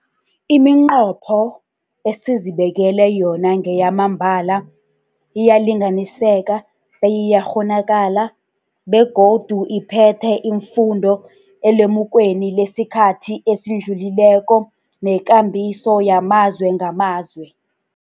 Iminqopho esizibekele yona ngeyamambala, iyalinganiseka beyiyakghonakala, begodu iphethe iimfundo elemukweni lesikhathi esidlulileko nekambiso yamazwe ngamazwe.